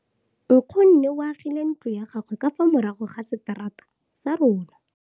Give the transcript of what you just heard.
Nkgonne o agile ntlo ya gagwe ka fa morago ga seterata sa rona.